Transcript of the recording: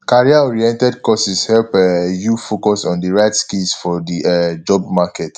careeroriented courses help um you focus on the right skills for the um job market